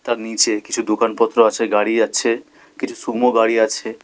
তার নীচে কিছু দোকানপত্র আছে গাড়ি আছে কিছু সুমো গাড়ি আছে।